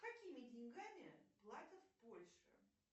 какими деньгами платят в польше